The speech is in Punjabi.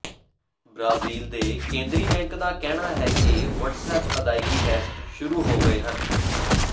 ਬ੍ਰਾਜ਼ੀਲ ਦੇ ਕੇਂਦਰੀ ਬੈਂਕ ਦਾ ਕਹਿਣਾ ਹੈ ਕਿ ਵਟਸਐਪ ਅਦਾਇਗੀ ਟੈਸਟ ਸ਼ੁਰੂ ਹੋ ਗਏ ਹਨ